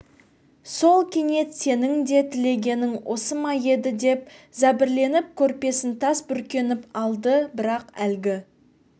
сол кенет сенің де тілегенің осы ма еді деп зәбірленіп көрпесін тас бүркеніп алды бірақ әлгі